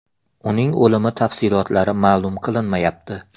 Uning o‘limi tafsilotlari ma’lum qilinmayapti.